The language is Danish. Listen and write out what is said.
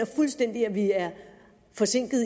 fuldstændig at vi er forsinket